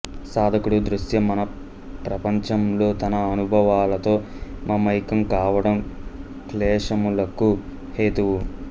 సాధకుడు దృశ్యమానప్రపంచంలో తన అనుభవాలతో మమైక్యం కావడం క్లేశములకు హేతువు